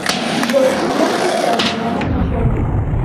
джой не отвечай на звонок начальника